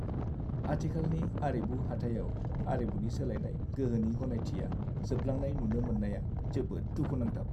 आथिखालनि आरिमु हाथायाव आरिमुनि सोलायनाय गोहोनि गनायथिया जोबलांनाय नुनो मोन्नाया जोबोद दुखुनांथाव।